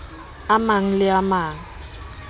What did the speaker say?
a mang le a mang